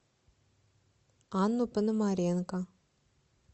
анну пономаренко